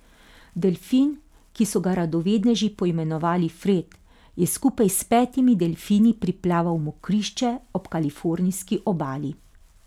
Delfin, ki so ga radovedneži poimenovali Fred, je skupaj s petimi delfini priplaval v mokrišče ob kalifornijski obali.